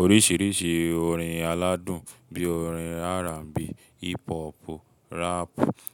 Oríṣiríṣi orin aládùn bí orin R&B, Hip-pọ́pù, rap,